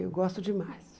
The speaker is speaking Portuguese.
Eu gosto demais.